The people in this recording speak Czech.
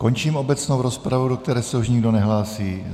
Končím obecnou rozpravu, do které se už nikdo nehlásí.